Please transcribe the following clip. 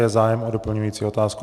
Je zájem o doplňující otázku?